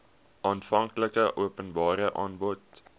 aanvanklike openbare aanbod